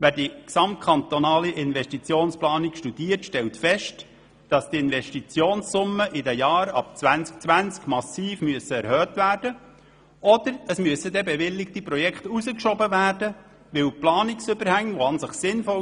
Wer die gesamtkantonale Investitionsplanung studiert, stellt fest, dass die Investitionssumme in den Jahren ab 2020 massiv erhöht wird, es sei denn, bewilligte Projekte würden hinausgeschoben, weil die an und für sich sinnvollen Planungsüberhänge sehr hoch sind.